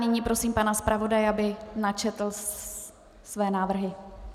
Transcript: Nyní prosím pana zpravodaje, aby načetl svoje návrhy.